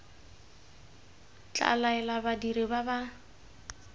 tla laela badiri ba ba